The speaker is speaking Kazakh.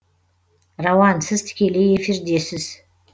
рауан сіз тікелей эфирдесіз